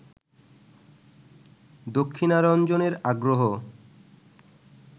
দক্ষিণারঞ্জনের আগ্রহ